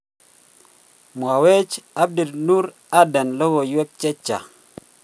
Mwawech Abdinoor Aden Logoiwek chechang.